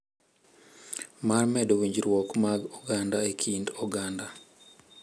Mar medo winjruok mag oganda e kind oganda.